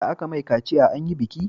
Da aka mai kaciya anyi biki